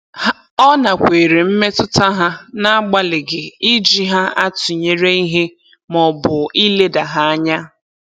Ọ nakweere mmetụta ha n'agbalịghị iji ha atụnyere ihe maọbụ ileda ha anya.